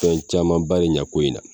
Fɛn caman ba e ɲɛ ko in na.